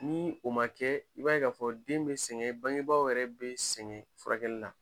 Ni o ma kɛ i b'a ye k'a fɔ den be sɛŋɛ bangebaaw yɛrɛ be sɛŋɛ furakɛli la.